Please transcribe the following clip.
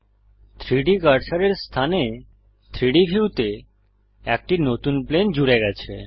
3ডি কার্সারের স্থানে 3ডি ভিউতে একটি নতুন প্লেন জুড়ে গেছে